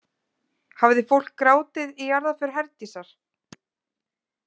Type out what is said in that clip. Hafði fólk grátið í jarðarför Herdísar?